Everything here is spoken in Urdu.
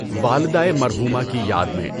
والدهٔ مرحومہ کی یاد میں